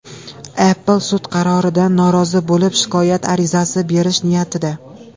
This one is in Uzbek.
Apple sud qaroridan norozi bo‘lib shikoyat arizasi berish niyatida.